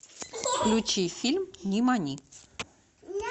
включи фильм нимани